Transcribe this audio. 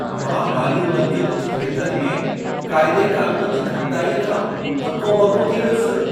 मां माली उधम जे कुझु खेत्रनि में क़ाइदे क़ानूननि जी घटिताईअ खां हको ॿको थी वियसि।